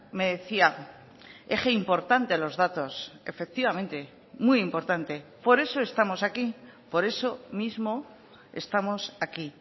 me decía eje importante los datos efectivamente muy importante por eso estamos aquí por eso mismo estamos aquí